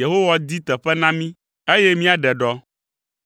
Yehowa di teƒe na mí, eye míaɖe ɖɔ.”